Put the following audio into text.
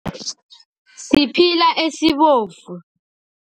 Siphila esibovu.